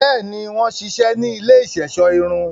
Bẹẹni, wọn ṣiṣẹ ni ilé iṣọṣọ irun